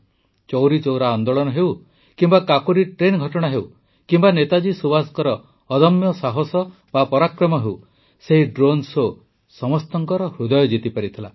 ଚୌରା ଅନ୍ଦୋଳନ ହେଉ କିମ୍ବା କାକୋରୀ ଟ୍ରେନ୍ ଘଟଣା ହେଉ କିମ୍ବା ନେତାଜୀ ସୁବାସଙ୍କ ଅଦମ୍ୟ ସାହସ ବା ପରାକ୍ରମ ହେଉ ସେହି ଡ୍ରୋନ୍ ଶୋ ସମସ୍ତଙ୍କ ହୃଦୟ ଜିତିପାରିଥିଲା